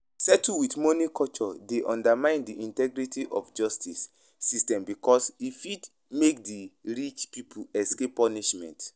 settle with money culture dey undermine di integrity of justice system because e fit make di rich people escape punishment.